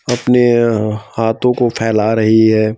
अपने अं हाथों को फैला रही है।